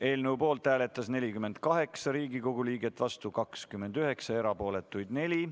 Eelnõu poolt hääletas 48 Riigikogu liiget, vastuolijaid 29 ja erapooletuid 4.